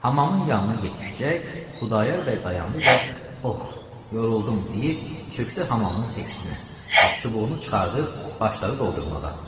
Hamamın yanına yetişəcək, Xudayar bəy dayandı və "ox! yoruldum" deyib, çökdü hamamın səkinə və çubuğunu çıxarıb başladı doldurmağa.